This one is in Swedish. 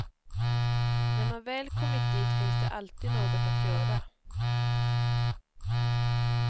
När man väl kommit dit finns det alltid något att göra.